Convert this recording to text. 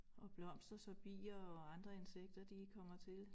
Og blomster så bier og andre insekter de kommer til